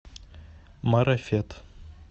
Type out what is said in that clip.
марафет